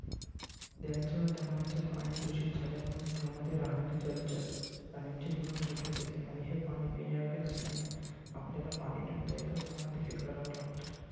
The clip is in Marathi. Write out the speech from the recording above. नद्यांचे व तलावांचे पाणी दूषित झाल्यामुळे त्यामध्ये रहाणारे जलचर प्राण्यांचे जीवन धोक्यात येते. आणि हे पाणी पिण्यायोग्य नसल्याने आपल्याला पाणी टंचाईचा सामना देखील करावा लागतो.